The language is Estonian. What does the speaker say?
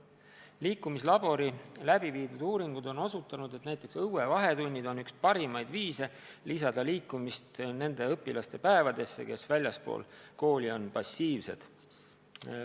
Liikumislabori uuringud on osutanud, et õuevahetunnid on üks parimaid viise lisada liikumist nende õpilaste päevadesse, kes väljaspool kooli on passiivsed.